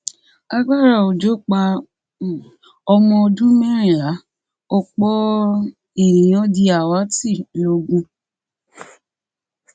agbára òjò pa um ọmọ ọdún mẹrìnlá ọpọ um ènìyàn di àwátì logun